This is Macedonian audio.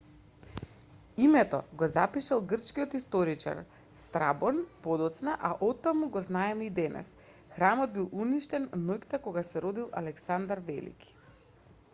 името го запишал грчкиот историчар страбон подоцна а оттаму го знаеме и денес храмот бил уништен ноќта кога се родил александар велики